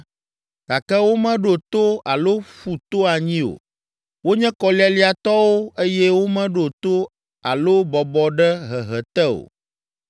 Gake womeɖo to alo ƒu to anyi o. Wonye kɔlialiatɔwo eye womeɖo to alo bɔbɔ ɖe hehe te o.